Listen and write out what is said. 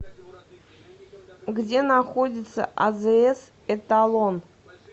где находится азс эталон